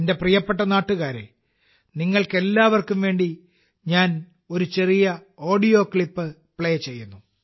എന്റെ പ്രിയപ്പെട്ട നാട്ടുകാരേ നിങ്ങൾക്കെല്ലാവർക്കും വേണ്ടി ഞാൻ ഒരു ചെറിയ ഓഡിയോ ക്ലിപ്പ് പ്ലേ ചെയ്യുന്നു